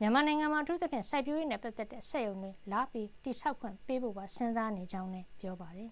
ပြင် မြန်မာနိုင်ငံမှာ အထူးသဖြင့် စိုက်ပျိုးရေးနဲ့ပတ်သက်တဲ့ စက်ရုံတွေ လာဆောက်ခွင့် ပေးဖို့ပါ စဉ်းစားနေကြောင်းလည်း ပြောပါတယ်